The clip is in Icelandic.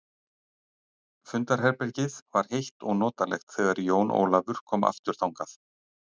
Fundarherbegið var heitt og notalegt þegar Jón Ólafur kom aftur þangað.